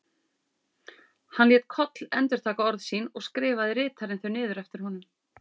Hann lét Koll endurtaka orð sín og skrifaði ritarinn þau niður eftir honum.